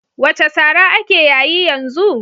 What slang is trending now?